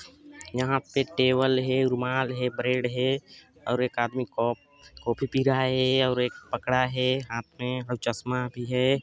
यहा पे टेवल है रुमाल है ब्रेड है और एक आदमी को काफी पी रहा है और एक पकडा है हाथ मे और चस्मा भी है।